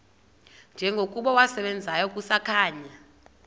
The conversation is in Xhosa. njengokuba wasebenzayo kusakhanya